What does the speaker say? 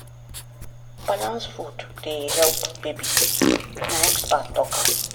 balanced food dey help baby na expert talk am.